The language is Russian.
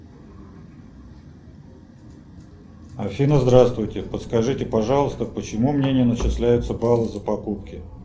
афина здравствуйте подскажите пожалуйста почему мне не начисляются баллы за покупки